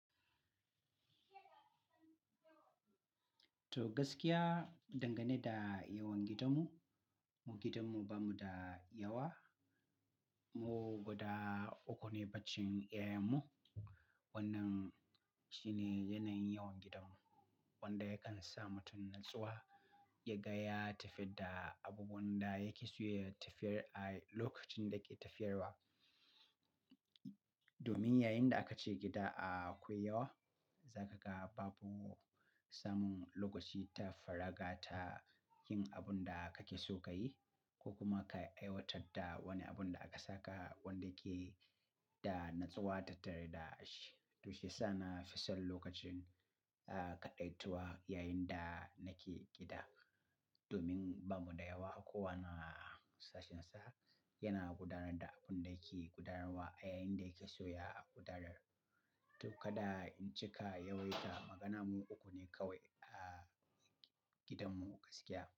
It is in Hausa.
To gaskiya, dangane da yawan gidanmu, mu gidanmu bamu da yawa. Mu guda uku ne bacin 'ya'yanmu. Wannan shine yanayin yawan gidanmu wanda yakan sa mutum natsuwa ya ga ya tafi da abubuwan da yake so ya tafiyar a lokacin da ke tafiyarwa. Domin yayinda aka je gida a akwai yawa, za ka ga babu samun lokaci ta faraga ta yin abun da kake so ka yi ko kuma ka aiwatar da wani abun da aka saka wanda yake da natsuwa tare da shi. Tushe sa na fi son lokacin, ah, kaɗaitawa yayinda nake gida. Domin bamu da yawa, kowane sashensa yana gudanar da abun da yake gudanarwa yayinda yake so ya gudanar. To kaɗa in cika yawaita, magana mu uku ne kawai a gidanmu gaskiya.